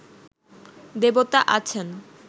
দেবতা আছেন